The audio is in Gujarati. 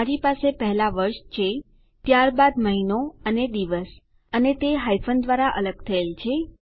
મારી પાસે પહેલા વર્ષ છે ત્યારબાદ મહિનો અને દિવસ અને તે હાયફન દ્વારા અલગ થયેલ છે